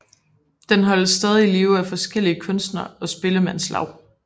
Den holdes stadig i live af forskellige kunstnere og spillemandslaug